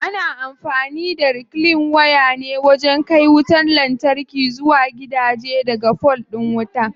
Ana amfani da reclean waya ne wajen kai wutar lantarki zuwa gidaje daga fol din wuta.